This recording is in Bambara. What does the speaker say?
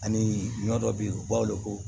Ani ɲɔ dɔ be yen u b'a weele ko